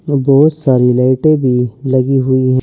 और बहुत सारी लाइटें भी लगी हुई है।